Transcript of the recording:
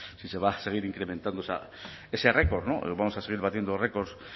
si se va a seguir incrementando ese récord no vamos a seguir batiendo récords